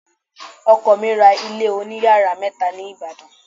Ọkọ mi ra ilé oniyàrá mẹ́ta ní Ìbàdàn.